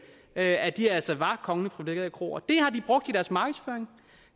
at at de altså var kongeligt privilegerede kroer det har de brugt i deres markedsføring